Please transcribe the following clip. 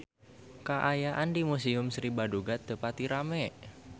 Kaayaan di Museum Sri Baduga teu pati rame